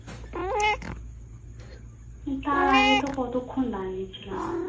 তার আগে তো কতক্ষন দাঁড়িয়েছিলাম